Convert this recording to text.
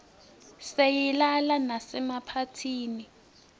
siyislala masemaphathini